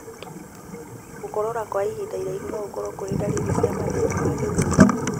Gũkorora kwa ihinda iraihu nogũkorwo kũrĩ ndariri cia mathĩna wa gĩthũri